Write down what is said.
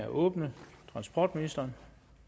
åbnet transportministeren